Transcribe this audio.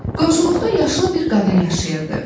Qonşuluqda yaşlı bir qadın yaşayırdı.